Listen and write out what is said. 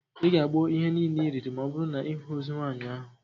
Ị ga-agbọ ihe niile iriri ma ọbụrụ na ịhụ ozu nwaanyị ahụ